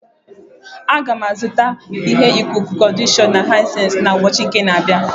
M ga-azụta ihe ikuku-conditioner Hisensi na ubochi uka a na-abia